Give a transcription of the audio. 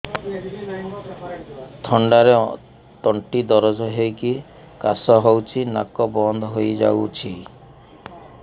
ଥଣ୍ଡାରେ ତଣ୍ଟି ଦରଜ ହେଇକି କାଶ ହଉଚି ନାକ ବନ୍ଦ ହୋଇଯାଉଛି